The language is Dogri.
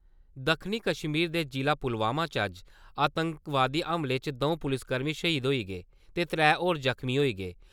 दक्खनी कश्मीर दे जिला पुलवामा च अज्ज आतंकवादी हमले च द`ऊं पुलसकर्मी शहीद होई गे ते त्रैऽ होर जख्मी होई गे।